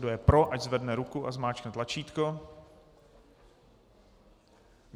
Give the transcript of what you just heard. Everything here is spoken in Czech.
Kdo je pro, ať zvedne ruku a zmáčkne tlačítko.